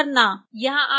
यहां आपके लिए एक असाइनमेंट है